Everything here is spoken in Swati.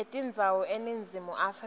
etindzawo eningizimu afrika